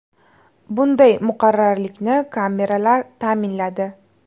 Bunday muqarrarlikni kameralar ta’minladi.